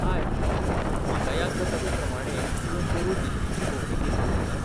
हाय, म्हाका याद जाता ते प्रमाणें तुवें पोरुं दिल्लीची भोवंडी केल्ली, न्हय?